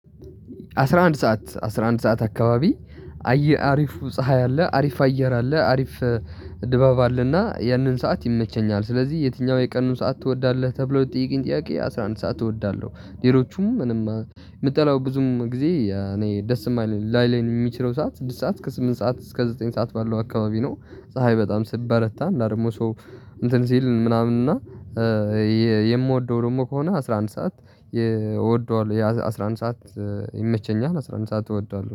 አስራ አንድ ሰዓት አስራ አንድ ሰዓት አከባቢ አየ አሪፍ ፀሀይ አለ አሪፍ አየር አለ አሪፍ ድባብ አለና ያንን ሰዓት ይመቸኛል። ስለዚህ የትኛው የቀኑን ሰዓት ትወዳለህ? ተብሎ የጠየቄኝ ጥያቄ አስራ አንድ ሰዓት እወዳለሁ። ሌሎቹም ምንም ምጠለው ብዙም ጊዜ እኔ ደስ የማይለኝ ላይለኝ የሚችለው ሰዓት ስድስት ሰዓት እስከ ስምንት ሰዓት እስከ ዘጠኝ ሰዓት ባለው አካባቢ ነው። ፀሀይ በጣም ስትበረታ እና ደግሞ ሰው እንትን ሲል ምናምን እና። የምወደው ደግሞ ከሆነ አስራ አንድ ሰዓት። እወደዋለሁ አስራ አንድ ሰዓት ይመቸኛል። አስራ አንድ ሰዓት እወደዋለሁ